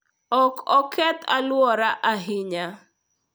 Ok oketh alwora ahinya.